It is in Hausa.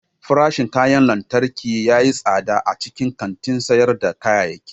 Farashin kayan lantarki ya yi tsada a cikin kantin sayar da kayayyaki.